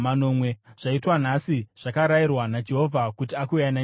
Zvaitwa nhasi zvakarayirwa naJehovha kuti akuyananisirei.